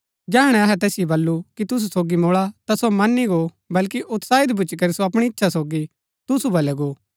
जैहणै अहै तैसिओ बल्लू कि तुसु सोगी मुळा ता सो मनी गो बल्कि उत्साही भूच्ची करी सो अपणी इच्छा सोगी तुसु बलै गो